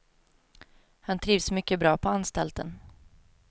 Han trivs mycket bra på anstalten.